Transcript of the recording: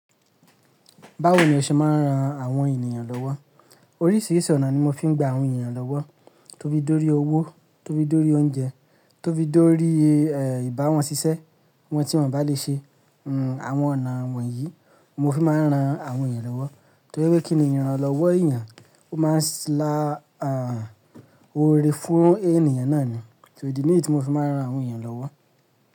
Báwo ni o ṣe máa ń ran àwọn ènìyàn lọ́wọ́? Oríṣìíríṣìí ọ̀nà ni mo fi ń gba àwọn ènìyàn lọ́wọ́. Tófi dórí owó, tófi dórí oúnjẹ, tófi dórí ìbá wọn ṣiṣẹ́, wọn tí wọ́n o bà lè ṣe. Àwọn ọ̀nà wọ̀nyí mo fi máa ń ran àwọn èeyàn lọ́wọ́. Torí wípé kíni ìrànlọ́wọ́ èeyàn, ó máa ń lá oore fún ènìyàn náà ni. So ìdí nìyí tí mo fi máa ń ran àwọn èeyàn lọ́wọ́.